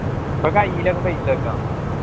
ഇപ്പൊ കയ്യിലൊക്കെ paisa വെക്ക